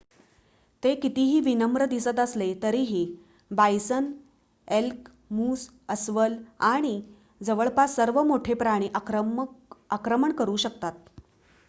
ते कितीही विनम्र दिसत असले तरीही बायसन एल्क मूस अस्वल आणि जवळपास सर्व मोठे प्राणी आक्रमण करू शकतात